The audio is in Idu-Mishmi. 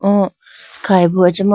O khayi bo acha ma.